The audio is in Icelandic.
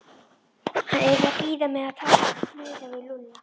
Hann yrði að bíða með að tala meira við Lúlla.